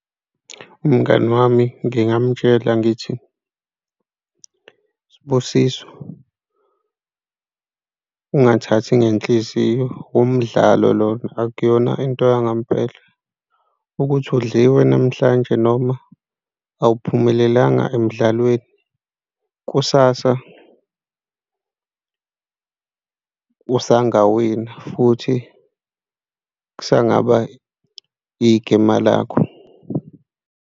Umngani wami, ngingamtshela ngithi, Sibusiso ungathathi ngenhliziyo, umdlalo lona akuyona into yangempela ukuthi udliwe namhlanje noma awuphumelelanga emdlalweni, kusasa usangawina futhi kusengaba igema lakho.